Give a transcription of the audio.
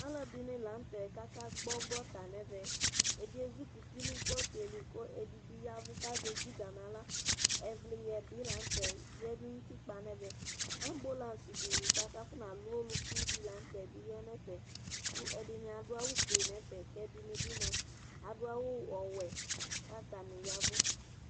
Alʋ ɛdɩnɩ la n'tɛ kaka gbɔ gota n'ɛvɛ Ɛdɩ ezikuti nʋ gota yɛ li, ɛdɩ bɩ yavʋ k'azɛ dziga n'aɣla Ɛvlɩyɛ bɩ la n'tɛ yǝdʋ n'utikpa n'ɛvɛ Ambulance dɩ bua kafɔnalʋ olukudɩ la n'tɛ bɩ ya n'ɛfɛ kʋ ɛdɩnɩ adʋ awʋ fue n'ɛfɛ, k'ɛdɩnɩ bɩ mua adʋ awʋ ɔwɛ k'atanɩ yavʋ